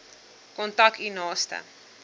kontak u naaste